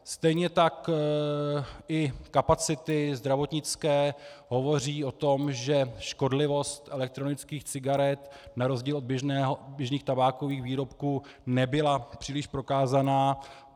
Stejně tak i kapacity zdravotnické hovoří o tom, že škodlivost elektronických cigaret na rozdíl od běžných tabákových výrobků nebyla příliš prokázána.